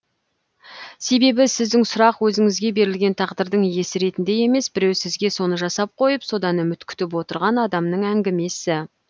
себебі сіздің сұрақ өзіңізге берілген тағдырдың иесі ретінде емес біреу сізге соны жасап қойып содан үміт күтіп отырған адамның әңгімесі